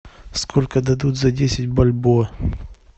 сколько дадут за десять бальбоа